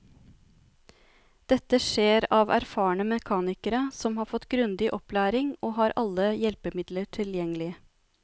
Dette skjer av erfarne mekanikere som har fått grundig opplæring og har alle hjelpemidler tilgjengelig.